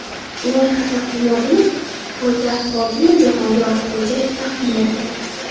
Loyiha taqdimotini poytaxt hokimi Jahongir Ortiqxo‘jayev taqdim etdi.